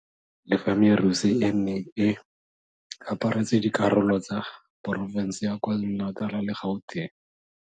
Le fa merusu e e neng e aparetse dikarolo tsa porofense ya KwaZulu-Natal le ya Gauteng.